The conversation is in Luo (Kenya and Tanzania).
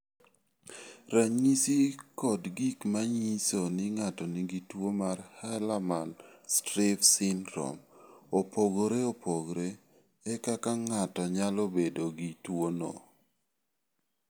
Ranyisi kod gik ma nyiso ni ng�ato nigi tuo mar Hallermann Streiff syndrome opogore opogore e kaka ng�ato nyalo bedo gi tuo no.